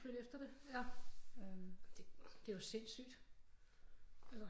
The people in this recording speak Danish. Flytte efter det ja det er jo sindssygt